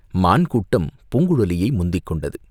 மான் கூட்டம் பூங்குழலியை முந்திக் கொண்டது.